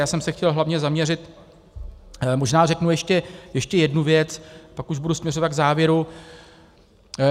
Já jsem se chtěl hlavně zaměřit - možná řeknu ještě jednu věc, pak už budu směřovat k závěru.